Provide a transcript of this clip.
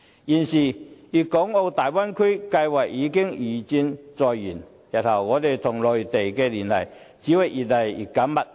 現時粵港澳大灣區計劃已經如箭在弦，日後我們跟內地的聯繫只會越來越緊密。